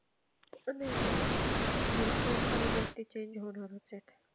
पण हे भरपूर साऱ्या गोष्टी change होणारच आलेत.